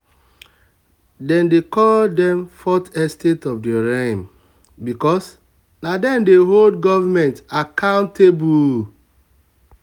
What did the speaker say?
dem dey call them fourth estate of the realm because na them dey hold government accountable.